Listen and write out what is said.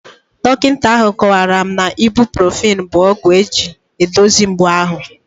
Dọkịta ahụ kọwara m na Ibuprofen bụ ọgwụ eji edozie mgbu ahụ